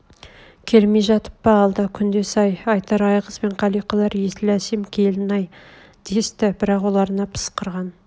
келмей жатып па алда күндес-ай айтар айғыз бен қалиқалар есіл әсем келін-ай десті бірақ оларына пысқырған